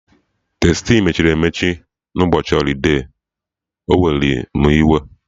Tastii mechiri emechi na ụbọchị holide, o were mụ iwe